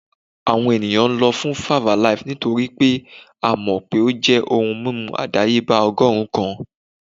Awọn eniyan lọ fun 5-alaaye nitori pe a mọ pe o jẹ ohun mimu adayeba ọgọrun kan